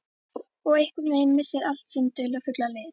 Og einhvern veginn missir allt sinn dularfulla lit.